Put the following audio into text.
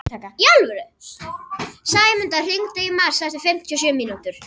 Sæmunda, hringdu í Mars eftir fimmtíu og sjö mínútur.